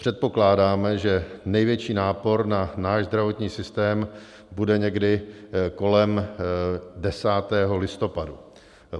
Předpokládáme, že největší nápor na náš zdravotní systém bude někdy kolem 10. listopadu.